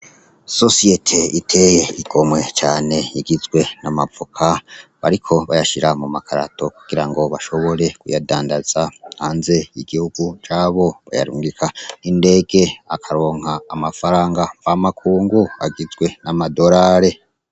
Ishirahamwe ritey'igomwe cane rigizwe ,n'amavoka bariko bayashira mu makarato kugirango bashobore kuyadandaza hanze y'igihugu, bayarongika n'indege bakaronk'amafaranga mva makungu agizwe nama dorari.